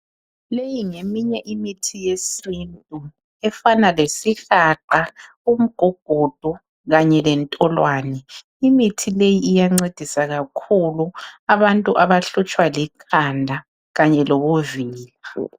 Leyi ngeminye imithi yesintu efana lesihlahla umgugudu kanye lentolwane. Imithi leyi iyancedisa kakhulu abantu abahlutshwa likhanda kanye lobuvila.